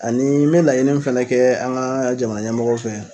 Ani n mɛ laɲini min fana kɛ, an ga jamanaɲɛmɔgɔw fɛ